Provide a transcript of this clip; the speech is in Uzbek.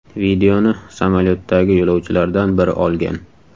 Videoni samolyotdagi yo‘lovchilardan biri olgan.